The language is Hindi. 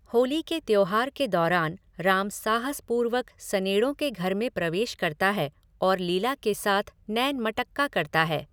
होली के त्योहार के दौरान राम साहसपूर्वक सनेड़ों के घर में प्रवेश करता है और लीला के साथ नैन मटक्का करता है।